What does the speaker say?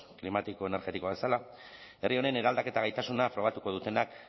klimatiko energetikoa bezala herri honen eraldaketa gaitasuna frogatuko dutenak